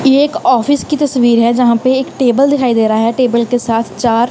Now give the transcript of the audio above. ये एक ऑफिस की तस्वीर है। जहां पे एक टेबल दिखाई दे रहा है टेबल के साथ चार--